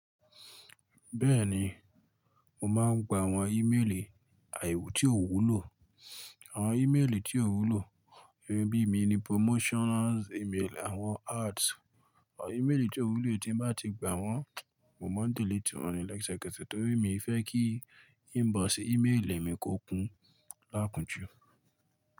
Bẹ́ẹ̀ni, mo máa ń gba àwọn ímeèlì àì tí ò wúlò, àwọn ímeèlì tí ò wúlò, emi bí i mi ni promotions email, àwọn ads, àwọn ímeèlì tí ò wúlò tí bá ti gba wọ́n, mo ma delete wọ́n lẹ́sẹ̀kẹsẹ̀ torí mi fẹ́ kí inbox ímeèlì mi kó kún lákunjú.